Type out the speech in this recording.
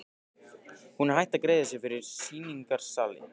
Hún er hætt að greiða fyrir sýningarsali.